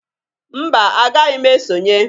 Mba! Agaghị m esonye.